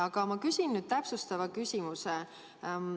Aga ma küsin nüüd täpsustava küsimuse.